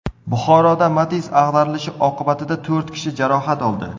Buxoroda Matiz ag‘darilishi oqibatida to‘rt kishi jarohat oldi.